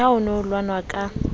le ha ho nehelanwa ka